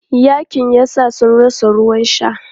Yaƙin yasa sun rasa ruwan sha.